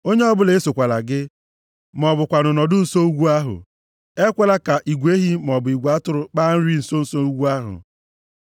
Onye ọbụla esokwala gị, ma ọ bụkwanụ nọdụ nso ugwu ahụ. Ekwekwala ka igwe ehi maọbụ igwe atụrụ kpaa nri nso nso ugwu ahụ.”